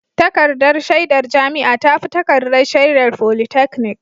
Takardar shaidar jami'a ta fi takardar shaidar polytechnic